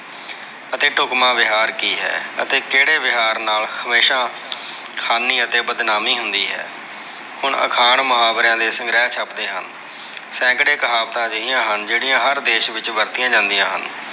ਅਤੇ ਢੁਕਮਾ ਵਿਹਾਰ ਕੀ ਹੈ। ਅਤੇ ਕਿਹੜੇ ਵਿਹਾਰ ਨਾਲ ਹਮੇਸ਼ਾ ਹਾਨੀ ਅਤੇ ਬਦਨਾਮੀ ਹੁੰਦੀ ਹੈ। ਹੁਣ ਅਖਾਣ, ਮੁਹਾਵਰਿਆ ਦੇ ਸੰਗ੍ਰਹਿ ਛਪਦੇ ਹਨ। ਸੈਂਕੜੇ ਕਹਾਵਤਾ ਅਜਿਹੀਆਂ ਹਨ, ਜਿਹੜੀਆਂ ਹਰ ਦੇਸ਼ ਵਿੱਚ ਵਰਤੀਆ ਜਾਂਦੀਆਂ ਹਨ।